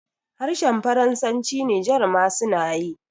harhen faransanci niger ma suna yi